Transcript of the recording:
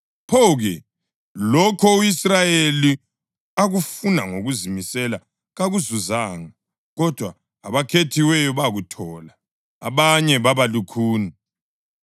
Pho-ke? Lokho u-Israyeli akufuna ngokuzimisela kakuzuzanga, kodwa abakhethiweyo bakuthola. Abanye baba lukhuni,